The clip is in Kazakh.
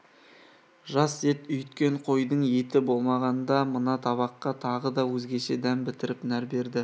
жас ет үйіткен қойдың еті болғанда мына табаққа тағы да өзгеше дәм бітіріп нәр берді